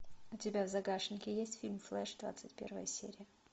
у тебя в загашнике есть фильм флеш двадцать первая серия